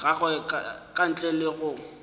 gagwe ka ntle le go